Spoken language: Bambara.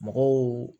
Mɔgɔw